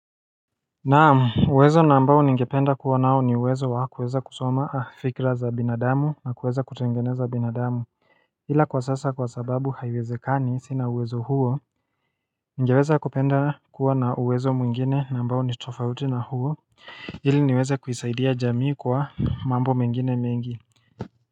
Naamu, uwezo na ambao ningependa kuwa nao ni uwezo wa kuweza kusoma fikra za binadamu na kuweza kutengeneza binadamu ila kwa sasa kwa sababu haiwezekani sina uwezo huo Ningeweza kupenda kuwa na uwezo mwingine na ambao nitofauti na huo Hili niweze kuisaidia jamii kwa mambo mengine mengi.